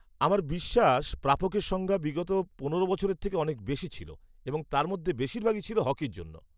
আমার বিশ্বাস প্রাপকের সংখ্যা বিগত পনেরো বছরের থেকে অনেক বেশি ছিল এবং তার মধ্যে বেশিরভাগই ছিল হকির জন্য।